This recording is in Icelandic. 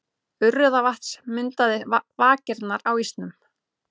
Urriðavatns myndaði vakirnar á ísnum.